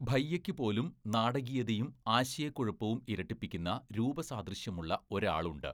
ഭയ്യയ്ക്ക് പോലും നാടകീയതയും ആശയക്കുഴപ്പവും ഇരട്ടിപ്പിക്കുന്ന രൂപസാദൃശ്യമുള്ള ഒരാളുണ്ട്.